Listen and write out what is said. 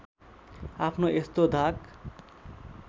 आफ्नो यस्तो धाक